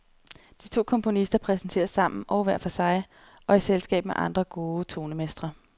De to komponister præsenteres sammen og hver for sig, og i selskab med andre gode tonemestre.